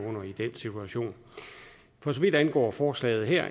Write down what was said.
under i den situation for så vidt angår forslaget her